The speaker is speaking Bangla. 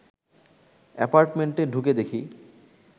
অ্যাপার্টমেন্টে ঢুকে দেখি